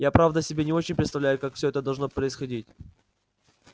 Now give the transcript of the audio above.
я правда себе не очень представляю как все это должно происходить